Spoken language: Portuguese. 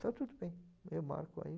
Está tudo bem, eu marco aí.